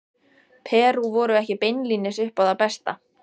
Perú voru ekki beinlínis upp á það besta.